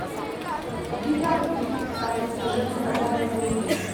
у тебя будет как избежать наказания за убийство